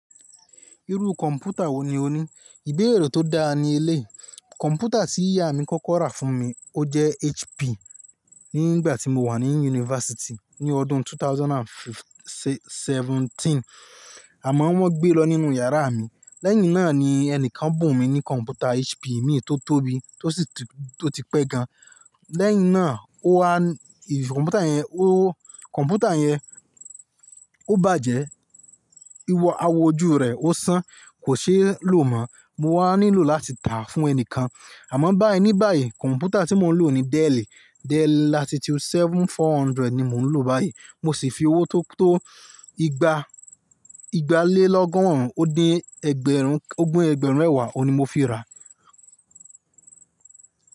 Irú kọ̀mpútà wo ni o ní? Ìbéèrè tó dáa ní eléyii. Kọ̀mpútà tí ìyá mi kọ́kọ́ rà fún mi, ó jẹ́ HP nígbà tí mo wà ní yunifásítì ní ọdún 2017 àmọ́ wọ́n gbé lọ nínú yàrá mi. Lẹ́yìn náà ni ẹni kan bùn mi ní kọ̀mpútà HP mìí tó tóbi tó sì ti pé gan. Lẹ́yìn náà, ó wá kọ̀mpútà yẹn, ó kọ̀mpútà yẹn, ó bàjẹ́, ìwọ àwo ojú rẹ̀ ó san, kò ṣeé lò mọ́. Mo wá nílò láti tà á fún ẹni kan. Àmọ́ báì ní báì, kọ̀mpútà tí mo ń lò ní Dell, Dell Latitude 7400 ni mo ń lò báyìí. Mo sì fi owó tó tó igba, igba lé lọ́gọ́rùn ún ó dín ẹgbẹ̀rún, ogún ẹgbẹ̀rún mẹ̀wá òun ní mo fi ra.